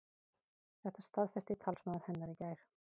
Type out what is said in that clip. Þetta staðfesti talsmaður hennar í gær